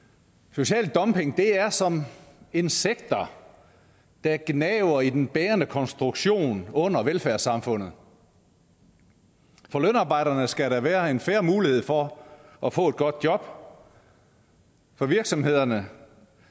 social dumping er som insekter der gnaver i den bærende konstruktion under velfærdssamfundet for lønarbejderne skal der være en fair mulighed for at få et godt job for for virksomhederne